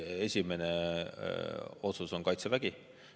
Esimene otsus on Kaitsevägi.